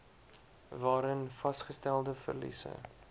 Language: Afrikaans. waarin vasgestelde verliese